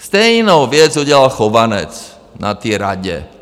Stejnou věc udělal Chovanec na té Radě.